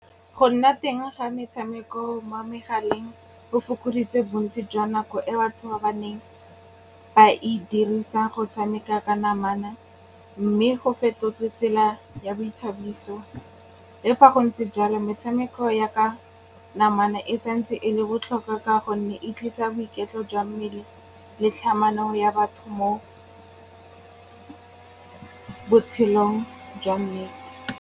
Go nna teng ga metshameko mo megaleng go fokoditse bontsi jwa nako e batho ba ba neng ba e dirisa go tshameka ka namana mme go fetotse tsela ya boithabiso. Le fa go ntse jalo, metshameko ya ka namana e santse e le botlhokwa ka gonne e tlisa boiketlo jwa mmele le tlhamano ya batho mo botshelong jwa nnete.